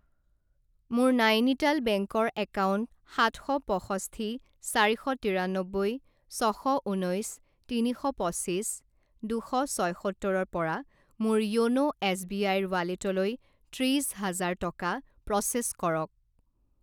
মোৰ নাইনিটাল বেংকৰ একাউণ্ট সাত শ পঁষষ্ঠি চাৰি শ তিৰানব্বৈ ছশ ঊনৈছ তিনি শ পঁচিছ দুশ ছয়সত্তৰৰ পৰা মোৰ য়োন' এছবিআইৰ ৱালেটলৈ ত্ৰিশ হাজাৰ টকা প্ৰ'চেছ কৰক।